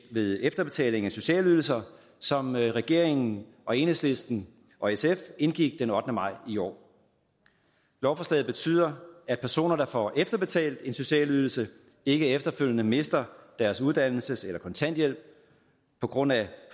ved efterbetaling af sociale ydelser som regeringen og enhedslisten og sf indgik den ottende maj i år lovforslaget betyder at personer der får efterbetalt en social ydelse ikke efterfølgende mister deres uddannelses eller kontanthjælp på grund af